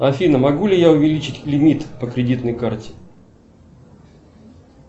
афина могу ли я увеличить лимит по кредитной карте